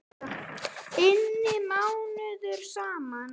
inni mánuðum saman.